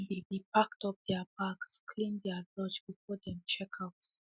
dem be be packed up their bags cleaned dey lounge before dem check out